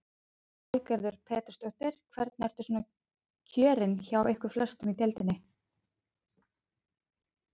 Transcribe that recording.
Lillý Valgerður Pétursdóttir: Hvernig eru svona kjörin hjá ykkur flestum í deildinni?